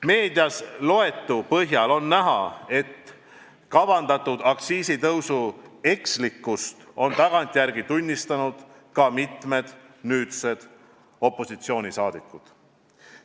Meedias loetu põhjal on näha, et kavandatud aktsiisitõusu ekslikkust on tagantjärele tunnistanud ka mitmed nüüdsed opositsioonisaadikud.